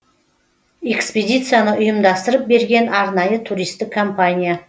экспедицияны ұйымдастырып берген арнайы туристік компания